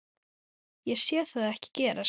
Ég sé það ekki gerast.